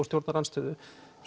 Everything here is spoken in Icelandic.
stjórnarandstöðu